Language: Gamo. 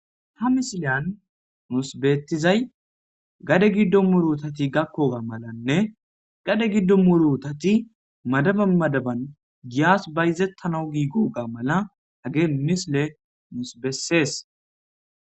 ha misiliyan nuusbeettizay gade giddo murutati gakkoga malanne gade giddo murutati madaba madaban giyas bayzettanau giiguga mala hagee misile musbessees